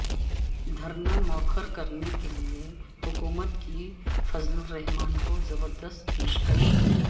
دھرنا مئوخر کرنے کیلئے حکومت کی فضل الرحمن کو زبردست پیشکش